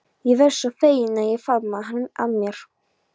Ég varð svo fegin að ég faðmaði hana að mér.